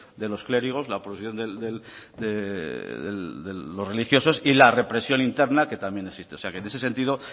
de los clérigos la oposición de los religiosos y la represión interna que también existe o sea que en ese sentido